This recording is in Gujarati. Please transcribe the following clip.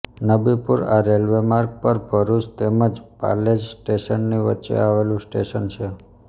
નબીપુર આ રેલ્વેમાર્ગ પર ભરૂચ તેમ જ પાલેજ સ્ટેશનની વચ્ચે આવેલું સ્ટેશન છે